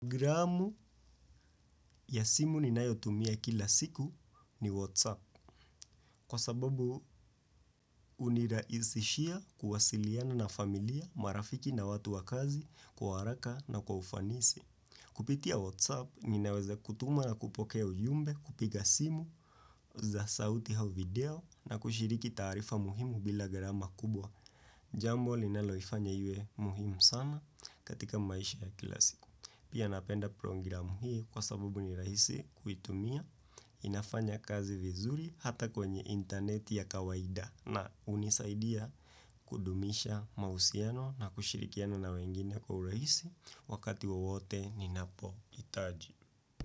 Programu ya simu ninayotumia kila siku ni Whatsapp kwa sababu hunirahisishia kuwasiliana na familia, marafiki na watu wa kazi, kwa haraka na kwa ufanisi. Kupitia Whatsapp, ninaweza kutuma na kupokea ujumbe, kupiga simu za sauti au video na kushiriki taarifa muhimu bila gharama kubwa. Jambo linaloifanya iwe muhimu sana katika maisha ya kila siku. Pia napenda programu hii kwa sabubu ni rahisi kuitumia inafanya kazi vizuri hata kwenye interneti ya kawaida na hunisaidia kudumisha mahusiano na kushirikiana na wengine kwa urahisi wakati wowote ninapohitaji.